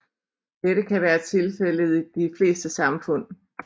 Dette kan være tilfældet i de fleste samfund